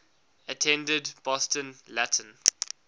attended boston latin